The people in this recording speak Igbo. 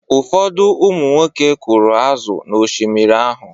Ụfọdụ ụmụnwoke kụrụ azụ̀ n’Oshimiri ahụ.